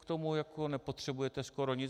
K tomu jako nepotřebujete skoro nic.